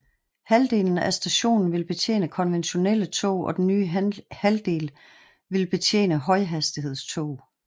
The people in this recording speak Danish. Halvdelen af stationen vil betjene konventionelle tog og den nye halvdel vil betjene højhastighedstog